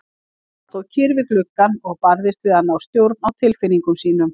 Hann stóð kyrr við gluggann og barðist við að ná stjórn á tilfinningum sínum.